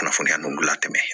Kunnafoniya ninnu gilan ka tɛmɛ